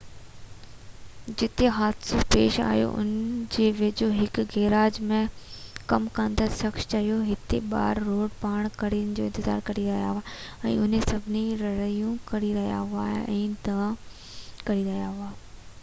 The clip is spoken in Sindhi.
جتي حادثو پيش آيو ان جي ويجهو هڪ گيراج ۾ ڪم ڪندڙ شخص چيو هتي ٻار روڊ پار ڪرڻ جو انتظار ڪري رهيا هئا ۽ اهي سڀئي رڙيون ڪري رهيا هئا ۽ دانهون ڪري رهيا هئا